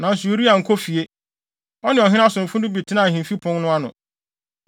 Nanso Uria ankɔ fie. Ɔne ɔhene asomfo no bi tenaa ahemfi pon no ano.